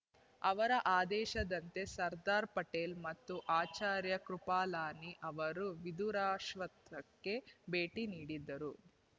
ಅವರ ಆದೇಶದಂತೆ ಸರ್ದಾರ್ ಪಟೇಲ ಮತ್ತು ಆಚಾರ್ಯ ಕೃಪಲಾನಿ ಅವರು ವಿಧುರಾಶ್ವತ್ಥಕ್ಕೆ ಭೇಟಿ ನೀಡಿದ್ದರು